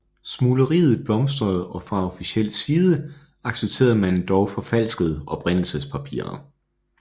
Smugleriet blomstrede og fra officiel side accepterede man endog forfalskede oprindelsespapirer